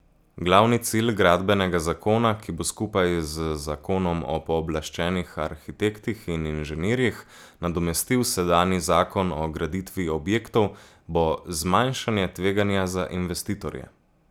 Glavni cilj gradbenega zakona, ki bo skupaj z zakonom o pooblaščenih arhitektih in inženirjih nadomestil sedanji zakon o graditvi objektov, bo zmanjšanje tveganja za investitorje.